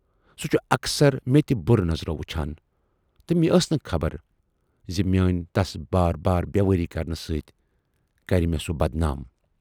سُہ چھُ اکثر مےٚ تہِ بُرٕ نظرو وُچھان تہٕ مےٚ ٲس نہٕ خبر زِ میٲنۍ تَس بار بار بیوٲری کرنہٕ سۭتۍ کرِ مےٚ سُہ بدنام۔